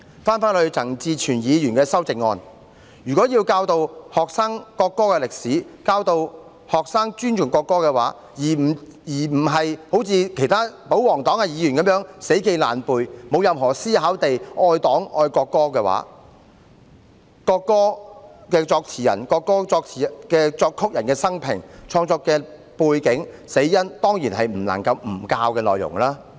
關於陳志全議員的修正案，如果要教導學生國歌的歷史，教導學生尊重國歌，而非如保皇黨議員般，死記爛背，沒有任何思考地愛黨、愛國歌，國歌作詞人和作曲人的生平和死因、創作國歌的背景當然是不能不教的內容。